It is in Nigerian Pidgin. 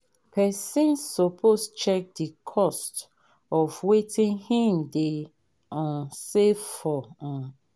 persin suppose check the cost of wetin him de um save for um